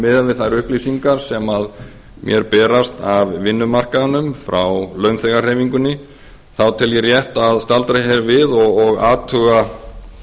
miðað við þær upplýsingar sem mér berast af vinnumarkaðnum frá launþegahreyfingunni þá tel ég rétt að staldra hér við og athuga